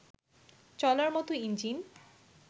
চলার মতো ইঞ্জিন